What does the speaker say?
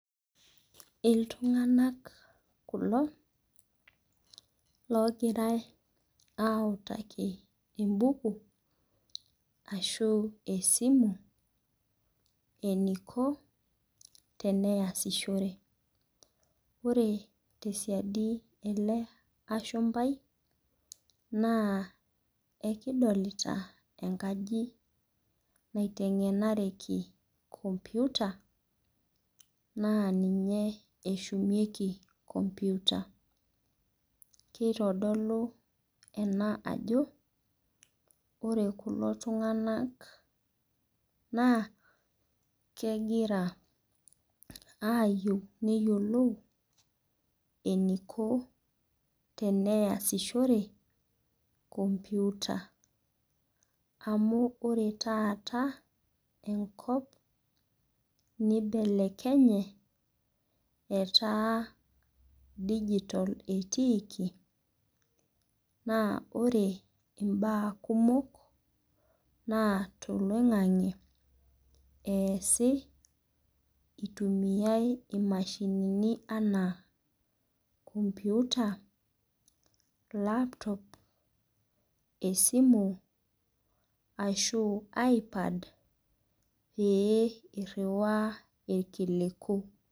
Iltung'anak kulo logirai autaki ebuku, ashu esimu, eniko tenayasishore. Ore tesiadi ele ashumpai, naa ekidolita enkaji naiteng'enareki computer, naa ninye eshumieki computer. Kitodolu ena ajo, ore kulo tung'anak naa, kegira ayieu neyiolou eniko teneyasishore computer. Amu ore taata enkop, nibelekenye etaa dijitol etiiki, na ore imbaa kumok naa toloing'ang'e eesi itumiai imashinini anaa computer, laptop, esimu, ashu iPad, pee irriwaa irkiliku.